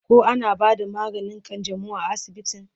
koh ana bada maganin kanjamau a asibitin?